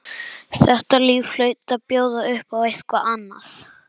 Þetta líf hlaut að bjóða upp á eitthvað annað.